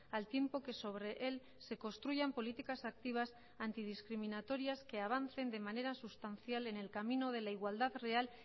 al tiempo que sobre él se construyan políticas activas antidiscriminatorias que avancen de manera sustancial en el camino de la igualdad real